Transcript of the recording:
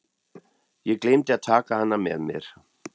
Ég gleymdi að taka hana með mér.